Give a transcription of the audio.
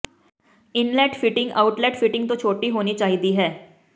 inlet fitting outlet fitting ਤੋਂ ਛੋਟੀ ਹੋਣੀ ਚਾਹੀਦੀ ਹੈ